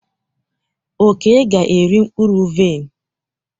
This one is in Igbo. Oke ga-eri mkpụrụ vaịn.